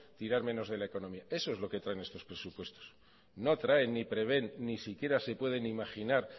tirar menos de la economía eso es lo que traen nuestros presupuestos no traen ni prevén ni siquiera sepueden imaginar